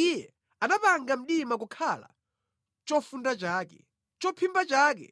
Iye anapanga mdima kukhala chofunda chake, chophimba chake